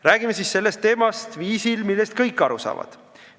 Räägime siis sellest teemast sellisel viisil, et kõik aru saaksid.